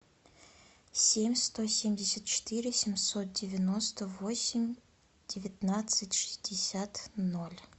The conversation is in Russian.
семь сто семьдесят четыре семьсот девяносто восемь девятнадцать шестьдесят ноль